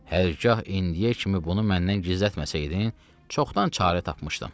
Hər gah indiyə kimi bunu məndən gizlətməsəydin, çoxdan çarə tapmışdım.